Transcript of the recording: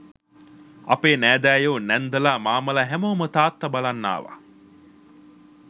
අපේ නෑදෑයෝ නැන්දලා මාමලා හැමෝම තාත්තා බලන්න ආවා